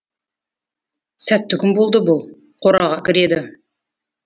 сәтті күн болды бұл қораға кіреді